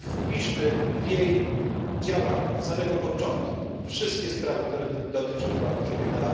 Wpiszmy w jej działanie od samego początku wszystkie sprawy, które dotyczą praw człowieka.